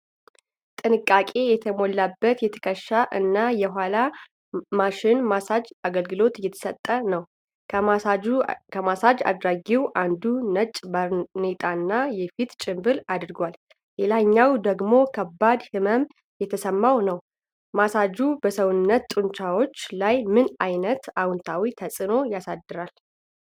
ጥንቃቄ የተሞላበት የትከሻ እና የኋላ ማሸት (ማሳጅ) አገልግሎት እየተሰጠ ነው። ከማሳጅ አድራጊው አንዱ ነጭ ባርኔጣና የፊት ጭንብል አድርጓል፣ ሌላኛው ደግሞ ከባድ ህመም እየተሰማው ነው። ማሳጅ በሰውነት ጡንቻዎች ላይ ምን ዓይነት አዎንታዊ ተጽዕኖ ያሳድራል?